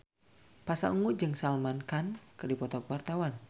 Pasha Ungu jeung Salman Khan keur dipoto ku wartawan